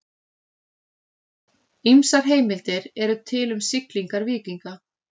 Ýmsar heimildir eru til um siglingar víkinga.